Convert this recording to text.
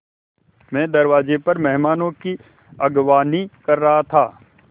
मैं दरवाज़े पर मेहमानों की अगवानी कर रहा था